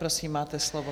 Prosím, máte slovo.